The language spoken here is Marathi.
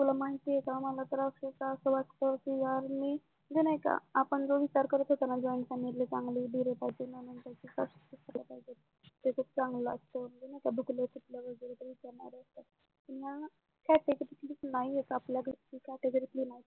आपण जो विचार करत होता ना join family चा चांगला असतो दुखलं फिकल वगेरे विचारणारं happy नाहीयेत आपल्या घरचे category तले नाहीयेत